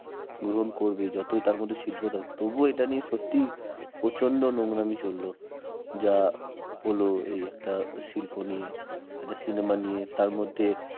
গ্রহণ করবে যতই যতই তার মধ্যে শিল্প থাকুক তবু এটা নিয়ে সত্যিই প্রচন্ড নোংরামি চলল যা হলো এই একটা শিল্প নিয়ে একটা cinema নিয়ে তার মধ্যে